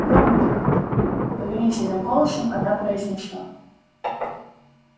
громким повелительным голосом она произнесла